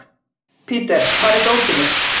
Peter, hvar er dótið mitt?